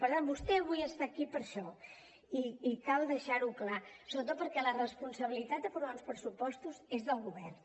per tant vostè avui està aquí per això i cal deixar ho clar sobretot perquè la responsabilitat d’aprovar uns pressupostos és del govern